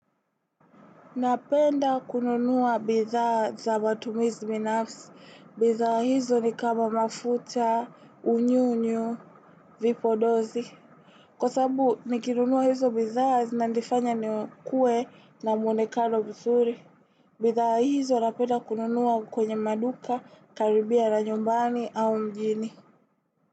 Napenda kununuwa bithaa za matumizi binafsi. Bithaa hizo ni kama mafuta, unyunyu, vipodozi. Kwa sababu, nikinunuwa hizo bithaa, zinanifanya nikue na mwonekano mzuri. Bithaa hizo napenda kununua kwenye maduka, karibia na nyumbani au mjini.